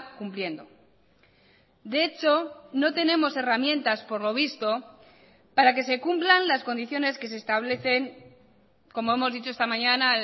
cumpliendo de hecho no tenemos herramientas por lo visto para que se cumplan las condiciones que se establecen como hemos dicho esta mañana